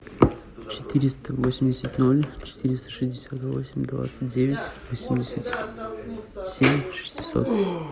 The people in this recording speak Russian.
четыреста восемьдесят ноль четыреста шестьдесят восемь двадцать девять восемьдесят семь шестьсот